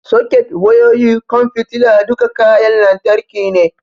Soket, wayoyi, ƙwan fitila, duka kayan lantarki ne.